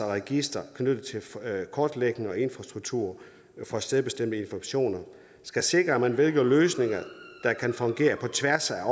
registre knyttet til kortlægning og infrastruktur for stedbestemte informationer det skal sikre at man vælger løsninger der kan fungere på tværs af